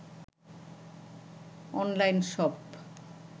online shop